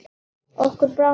Okkur brá nokkuð.